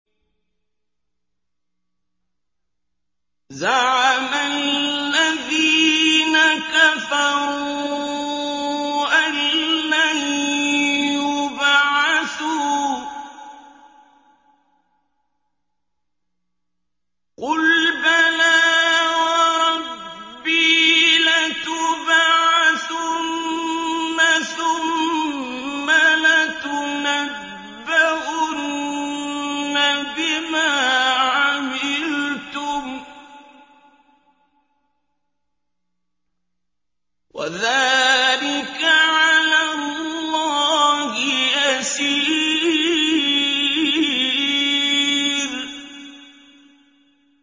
زَعَمَ الَّذِينَ كَفَرُوا أَن لَّن يُبْعَثُوا ۚ قُلْ بَلَىٰ وَرَبِّي لَتُبْعَثُنَّ ثُمَّ لَتُنَبَّؤُنَّ بِمَا عَمِلْتُمْ ۚ وَذَٰلِكَ عَلَى اللَّهِ يَسِيرٌ